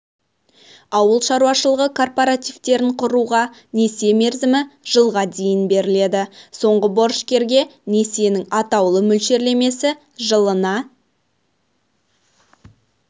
ауыл шаруашылығы кооперативтерін құруға несие мерзімі жылға дейін беріледі соңғы борышкерге несиенің атаулы мөлшерлемесі жылына